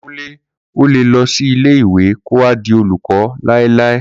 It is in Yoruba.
Kunle olè lọ ṣì ilé ìwé kó wa di olùkọ́ lailai